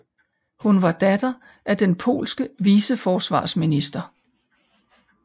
Hun var datter af den polske viceforsvarsminister